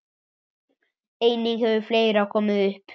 Einnig hefur fleira komið upp.